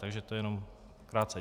Takže to jenom krátce.